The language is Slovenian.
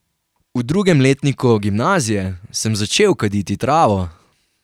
V drugem letniku gimnazije sem začel kaditi travo.